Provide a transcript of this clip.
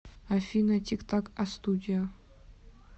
афина тик так астудио